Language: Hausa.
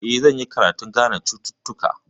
Eh, zan yi karatun gane cututtuka.